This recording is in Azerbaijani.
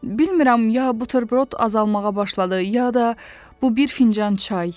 Bilmirəm ya buterbrot azalmağa başladı, ya da bu bir fincan çay.